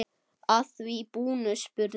Að því búnu spurði